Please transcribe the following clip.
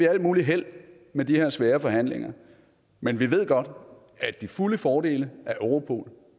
alt muligt held med de her svære forhandlinger men vi ved godt at de fulde fordele af europol